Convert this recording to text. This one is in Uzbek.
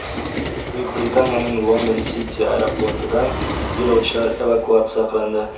Buyuk Britaniyaning London City aeroportidan yo‘lovchilar evakuatsiya qilindi.